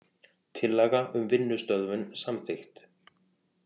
Tillaga um vinnustöðvun samþykkt